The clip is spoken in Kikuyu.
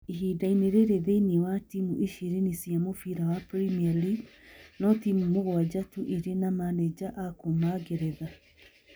Ihinda-inĩ rĩrĩ, thĩinĩ wa timũ ishirini cia mũbira wa Premier League, no timũ mũgwanja tu irĩ na manenja a kuuma Ngeretha.